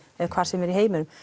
eða hvar sem er í heiminum